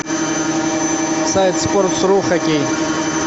сайт спортс ру хоккей